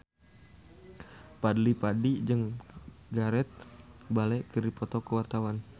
Fadly Padi jeung Gareth Bale keur dipoto ku wartawan